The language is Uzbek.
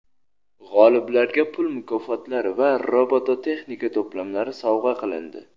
G‘oliblarga pul mukofotlari va robototexnika to‘plamlari sovg‘a qilindi.